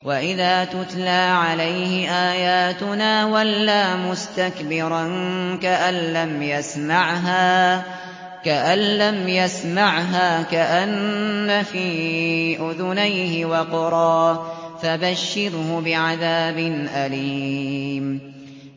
وَإِذَا تُتْلَىٰ عَلَيْهِ آيَاتُنَا وَلَّىٰ مُسْتَكْبِرًا كَأَن لَّمْ يَسْمَعْهَا كَأَنَّ فِي أُذُنَيْهِ وَقْرًا ۖ فَبَشِّرْهُ بِعَذَابٍ أَلِيمٍ